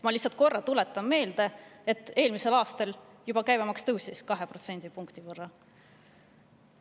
Ma lihtsalt tuletan korra meelde, et eelmisel aastal käibemaks juba tõusis 2% võrra.